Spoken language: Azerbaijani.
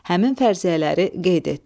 Həmin fərziyyələri qeyd et.